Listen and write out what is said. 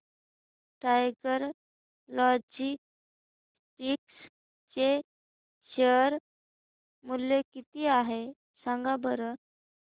tiger Logistics चे share मूल्य किती आहे सांगा बरं